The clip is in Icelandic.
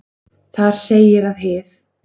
Þar segir að hið